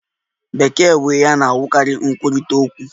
Bekee bụ ihe a na-ahụkarị nkwurịta okwu.